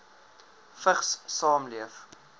vigs saamleef